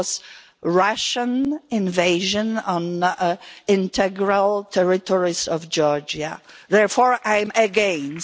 It was a Russian invasion of the integral territories of Georgia. Therefore I am against.